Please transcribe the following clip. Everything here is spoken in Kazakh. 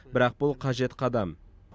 бірақ бұл қажет қадам